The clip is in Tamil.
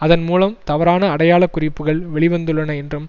அதன் மூலம் தவறான அடையாள குறிப்புக்கள் வெளி வந்துள்ளன என்றும்